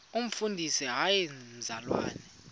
umfundisi hayi mzalwana